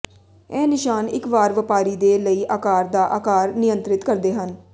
ਇਹ ਨਿਸ਼ਾਨ ਇੱਕ ਵਾਰ ਵਪਾਰੀ ਦੇ ਲਈ ਆਕਾਰ ਦਾ ਆਕਾਰ ਨਿਯੰਤ੍ਰਿਤ ਕਰਦੇ ਹਨ